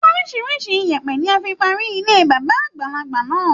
Orísirísi ìyẹ̀pẹ̀ ni a fi parí ilé bàbá àgbàlagbà náà.